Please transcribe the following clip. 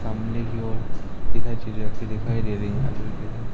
सामने की ओर इधर चीज रखी दिखाई दे रही हैं ।